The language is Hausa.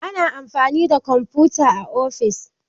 Ana amfani da kwamfuta a ofis.